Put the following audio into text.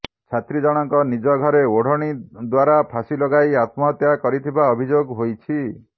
ଛାତ୍ରୀ ଜଣକ ନିଜ ଘରେ ଓଢଣୀ ଦ୍ୱାରା ଫାଶି ଲଗାଇ ଆତ୍ମହତ୍ୟା କରିଥିବା ଅଭିଯୋଗ ହୋଇଛି